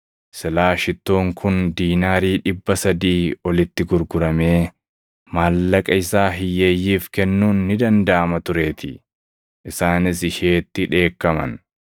Silaa shittoon kun diinaarii dhibba sadii + 14:5 Diinaariin dhibba sadii mindaa waggaatti hojjetaa tokkoof kaffalamu. olitti gurguramee maallaqa isaa hiyyeeyyiif kennuun ni dandaʼama tureetii.” Isaanis isheetti dheekkaman.